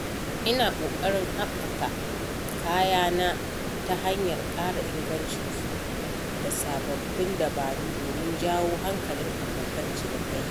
Ina ƙoƙarin haɓaka kayana ta hanyar ƙara ingancinsu da sababbin dabaru domin jawo hankalin abokan cinikayya.